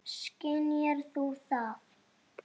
Skynjar þú það?